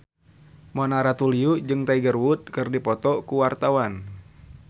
Mona Ratuliu jeung Tiger Wood keur dipoto ku wartawan